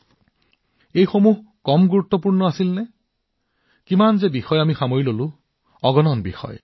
হয়তো আমি কিমানটা বিষয় স্পৰ্শ কৰিছো তথাপিও এয়া সম্ভৱতঃ অগণন হব